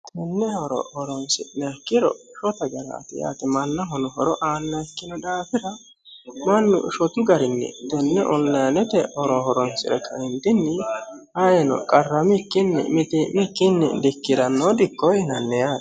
tenne horo horonsi'niha ikkiro shotta garaati yaate maannahono horo aanna ikkino daafira mannu shotu garinni tenne onilayinete horo horonsire kaentinni ayino qarramikkinni mitii'mikkinni dikkiranno dikko yinnanni yaate.